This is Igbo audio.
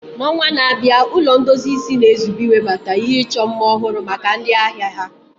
N'ọnwa na-abịa, Ụlọ ndozi isi na-ezube iwebata ihe ịchọ mma ọhụrụ maka ndị ahịa ha.